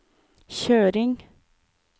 kjøring